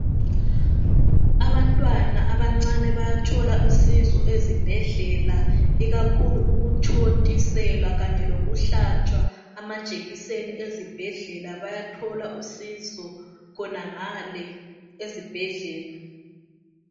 Abantwana abancane bayathola usizo ezibhedlela ikakhulu ukuthontiselwa kanye lokuhlatshwa amajekiseni ezibhedlela bayathola usizo khonangale ezibhedlela.